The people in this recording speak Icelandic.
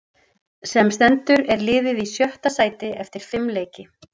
Sem stendur er liðið í sjötta sæti eftir fimm leiki.